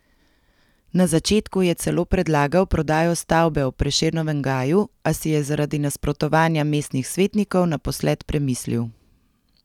Na začetku je celo predlagal prodajo stavbe ob Prešernovem gaju, a si je zaradi nasprotovanja mestnih svetnikov naposled premislil.